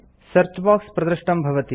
search box प्रदृष्टं भवति